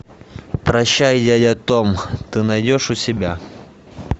прощай я я том ты найдешь у себя